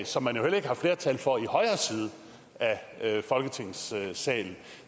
som man jo heller ikke har flertal for i højre side af folketingssalen